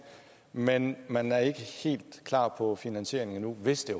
man man er ikke helt klar på finansieringen endnu hvis det